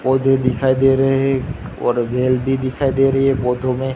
पौधे दिखाई दे रे है और वेल भी दिखाई दे रही है पौधों में।